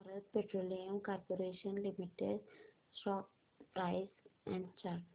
Bharat petroleum corporation limited stock price and chart